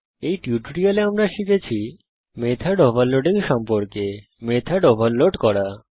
এই টিউটোরিয়ালে আমরা শিখেছি মেথড ওভারলোডিং সম্পর্কে মেথড ওভারলোড করা